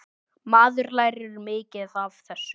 Maður lærir mikið af þessu.